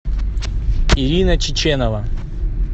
ирина чеченова